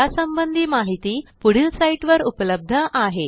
यासंबंधी माहिती पुढील साईटवर उपलब्ध आहे